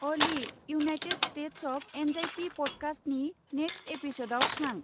Ali, United States of Anxiety पडकास्टनि next एपिसदाव थां।